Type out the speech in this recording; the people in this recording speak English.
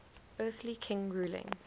earthly king ruling